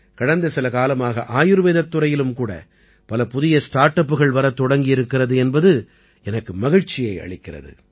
கடந்த சில காலமாக ஆயுர்வேதத் துறையிலும் கூட பல புதிய ஸ்டார்ட் அப்புகள் வரத் தொடங்கி இருக்கிறது எனக்கு மகிழ்ச்சியை அளிக்கிறது